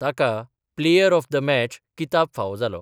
ताका player of the match किताब फावो जालो.